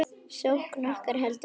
Sókn okkar heldur áfram.